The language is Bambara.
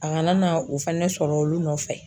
A kana na o fɛnɛ sɔrɔ olu nɔfɛ